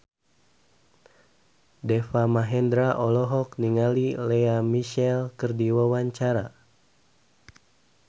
Deva Mahendra olohok ningali Lea Michele keur diwawancara